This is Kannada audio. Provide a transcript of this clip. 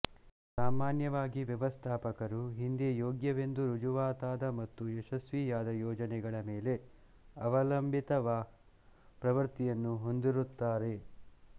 ಸಾಮಾನ್ಯವಾಗಿ ವ್ಯವಸ್ಥಾಪಕರು ಹಿಂದೆ ಯೋಗ್ಯವೆಂದು ರುಜುವಾತಾದ ಮತ್ತು ಯಶಸ್ವಿಯಾದ ಯೋಜನೆಗಳ ಮೇಲೆ ಅವಲಂಬಿತವಾಗಿವ ಪ್ರವೃತ್ತಿಯನ್ನು ಹೊಂದಿರುತ್ತಾರೆ